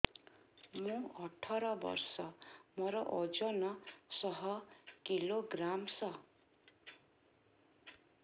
ମୁଁ ଅଠର ବର୍ଷ ମୋର ଓଜନ ଶହ କିଲୋଗ୍ରାମସ